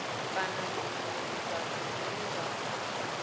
kana zwinwe zwifhato zwine zwa